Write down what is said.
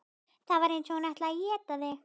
Það var eins og hún ætlaði að éta þig.